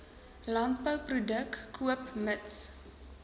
landbouproduk koop mits